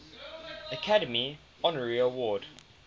academy honorary award